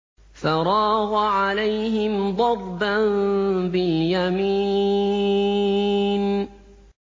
فَرَاغَ عَلَيْهِمْ ضَرْبًا بِالْيَمِينِ